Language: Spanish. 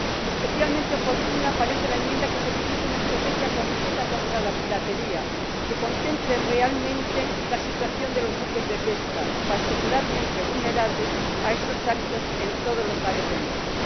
Especialmente oportuna parece la enmienda que solicita una estrategia completa contra la piratería, que contemple realmente la situación de los buques de pesca, particularmente vulnerables a estos actos en todos los mares del mundo.